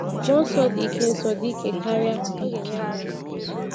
Mmụọ Nsọ dị ike Nsọ dị ike karịa, ọ ga-enyere anyị aka!